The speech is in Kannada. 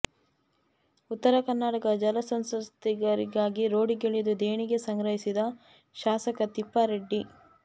ಉತ್ತರ ಕರ್ನಾಟಕ ಜಲ ಸಂತ್ರಸ್ಥರಿಗಾಗಿ ರೋಡಿಗಿಳಿದು ದೇಣಿಗೆ ಸಂಗ್ರಹಿಸಿದ ಶಾಸಕ ತಿಪ್ಪಾರೆಡ್ಡಿ